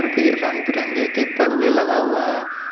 फिर रंग बिरंगे के पर्दे लगा हुआ है।